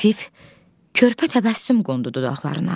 Xəfif körpə təbəssüm qondu dodaqlarına.